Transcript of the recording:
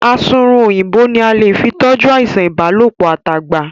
Asunrun Òyìnbó ní a lè fí toju àìsàn ìbálòpọ̀ at'agba.